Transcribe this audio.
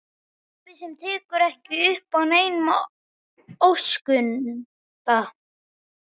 Pabba sem tekur ekki upp á neinum óskunda.